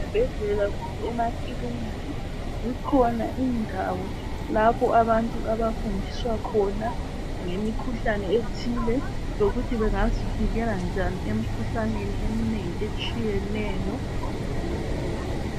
Ezibhedlela kumbe emakiliniki zikhona indawo lapho abantu abafundisa khona ngemikhuhlane ethile lokuthi bengazivikela njani emikhuhlaneni eminengi etshiyeneyo.